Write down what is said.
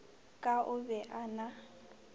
ka o be a na